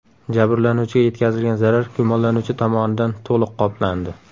Jabrlanuvchiga yetkazilgan zarar gumonlanuvchi tomonidan to‘liq qoplandi.